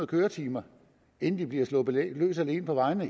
køretimer inden de bliver sluppet løs alene på vejene